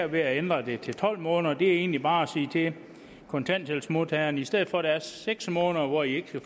ved at ændre det til tolv måneder det er egentlig bare at sige til kontanthjælpsmodtagerne i stedet for der er seks måneder hvor i ikke skal